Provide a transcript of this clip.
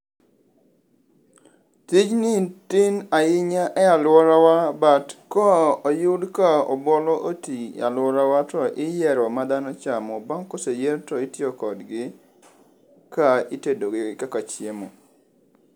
Tinji tin ahinya e alworawa but koyud ka obuolo oti e alworawa to iyiero madhano chamo. Bang' koseyier to itiyo kodgi ka itedogi kaka chiemo.